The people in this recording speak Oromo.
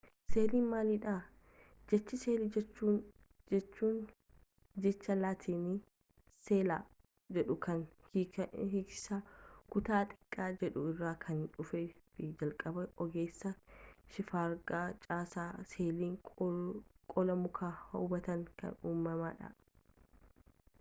seeliin maalidha jechi seelii jedhu jecha laatiinii sella jedhu kan hiiki isaa kutaa xiqqaa jedhu irraa kan dhufee fi jalqaba ogeessa shifargaa caasaa seelii qola mukaa hubateen kan uumamedha